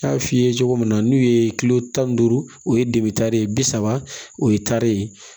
N y'a f'i ye cogo min na n'u ye kilo tan ni duuru o ye bi saba o ye tari